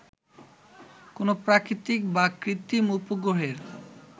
কোন প্রাকৃতিক বা কৃত্রিম উপগ্রহের